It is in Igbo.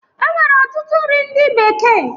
E nwere ọtụtụ nri ndị bekee